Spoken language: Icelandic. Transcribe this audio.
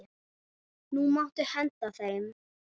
Nú máttu henda þeim.